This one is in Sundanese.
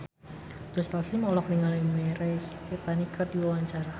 Joe Taslim olohok ningali Mirei Kiritani keur diwawancara